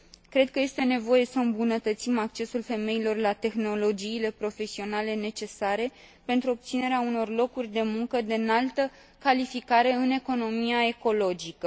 Cred că este nevoie să îmbunătățim accesul femeilor la tehnologiile profesionale necesare pentru obținerea unor locuri de muncă de înaltă calificare în economia ecologică.